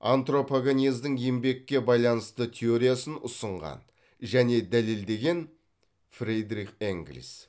антропогенездің еңбекке байланысты теориясын ұсынған және дәлелдеген фридрих энгелис